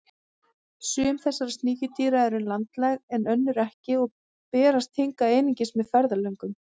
Sum þessara sníkjudýra eru landlæg en önnur ekki og berast hingað einungis með ferðalöngum.